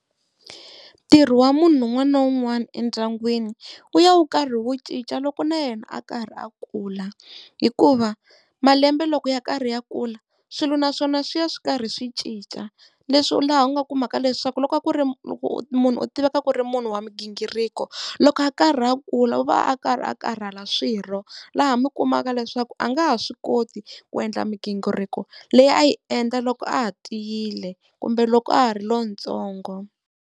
Ntirho wa munhu un'wana na un'wana endyangwini wu ya wu karhi wu cinca loko na yena a karhi a kula hikuva malembe loko ya karhi ya kula swilo naswona swi ya swi karhi swi cinca, leswi laha u nga kumaka leswaku loko a ku ri loko munhu u tiveka ku ri munhu wa migingiriko, loko a karhi a kula u va a karhi a karhala swirho laha mi kumaka leswaku a nga ha swi koti ku endla migingiriko leyi a yi endla loko a ha tiyile kumbe loko a ha ri lontsongo.